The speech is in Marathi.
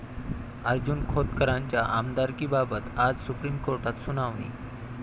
अर्जुन खोतकरांच्या आमदारकीबाबत आज सुप्रीम कोर्टात सुनावणी